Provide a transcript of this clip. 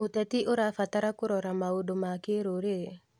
ũteti ũrabatara kũrora maũndũ ma kĩrũrĩrĩ.